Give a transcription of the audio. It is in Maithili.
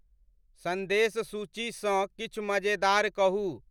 सन्देश सूची स किछ मज़ेदार कहुँ